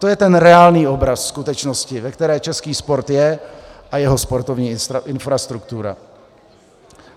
To je ten reálný obraz skutečnosti, ve které český sport je a jeho sportovní infrastruktura.